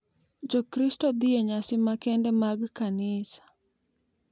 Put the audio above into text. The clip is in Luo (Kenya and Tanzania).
Jokristo dhi e nyasi makende mag kanisa,